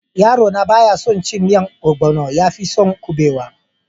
Yaro na baya son cin miyan onugbo, yafi son kubewa.